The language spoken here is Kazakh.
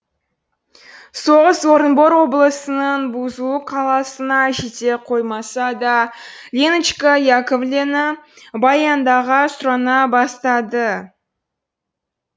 соғыс орынбор облысының бузулук қаласына жете қоймаса да леночка яковлена баяндыға сұрана бастады